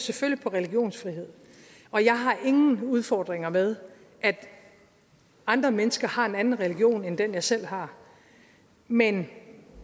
selvfølgelig på religionsfrihed og jeg har ingen udfordringer med at andre mennesker har en anden religion end den jeg selv har men